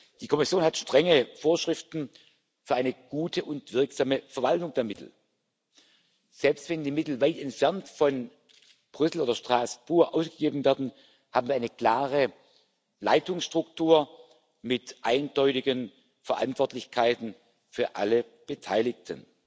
Die Kommission hat strenge Vorschriften für eine gute und wirksame Verwaltung der Mittel. Selbst wenn die Mittel weit entfernt von Brüssel oder Straßburg ausgegeben werden, haben wir eine klare Leitungsstruktur mit eindeutigen Verantwortlichkeiten für alle Beteiligten.